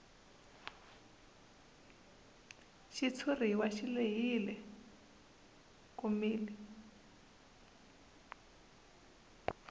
xitshuriwa xi lehile komile